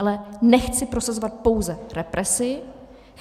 Ale nechci prosazovat pouze represi.